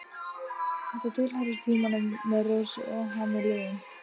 Þetta tilheyrir tímanum með Rósu og hann er liðinn.